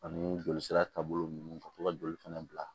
Ani jolisira taabolo ninnu ka to ka joli fana bila